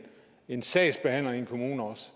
en sagsbehandler i en kommune også